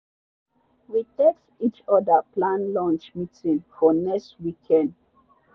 we text each other plan lunch meeting for next weekend.